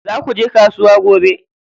Za kuje kasuwa gobe?